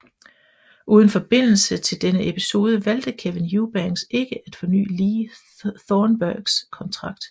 Uden forbindelse til denne episode valgte Kevin Eubanks ikke at forny Lee Thornburgs kontrakt